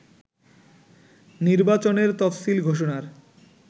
নির্বাচনের তফসিল ঘোষণার